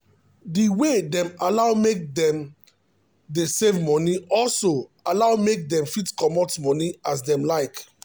um the way dem allow make them dey save moni also allow make dem fit comot thier moni as them like